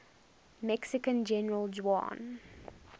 mexican general juan